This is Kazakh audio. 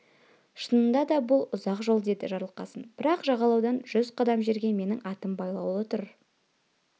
шынында да бұл ұзақ жол деді жарылқасын бірақ жағалаудан жүз қадам жерде менің атым байлаулы тұр